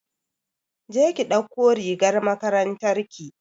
je ki ɗauko rigar makarantar ki!